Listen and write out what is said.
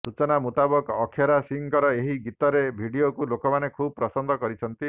ସୂଚନା ମୁତାବକ ଅକ୍ଷରା ସିଂହଙ୍କର ଏହି ଗୀତରେ ଭିଡିଓକୁ ଲେକାମାନେ ଖୁବ୍ ପସନ୍ଦ କରିଛନ୍ତି